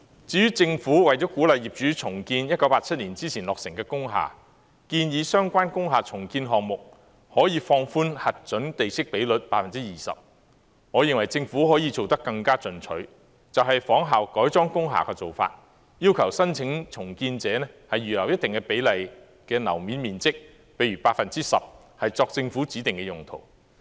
至於政府為了鼓勵業主重建1987年之前落成的工廈，建議相關工廈重建項目可以放寬核准地積比率 20%， 我認為政府可以做得更進取，就是仿效改裝工廈的做法，要求申請重建者預留一定比例的樓面面積，例如 10%， 作政府指定用途。